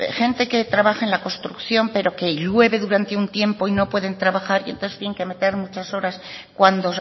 gente que trabaja en la construcción pero que llueve durante un tiempo y no pueden trabajar y entonces tienen que meter muchas horas cuando